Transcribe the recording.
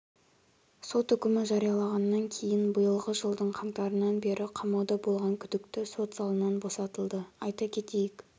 сот үкімі жарияланғаннан кейін биылғы жылдың қаңтарынан бері қамауда болған күдікті сот залынан босатылды айта кетейік